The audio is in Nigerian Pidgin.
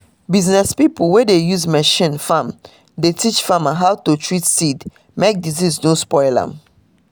business pipo wey dey use machine farm dey teach farmer how to treat seed mek disease no spoil am.